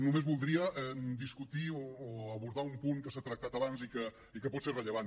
només voldria discutir o abordar un punt que s’ha tractat abans i que pot ser rellevant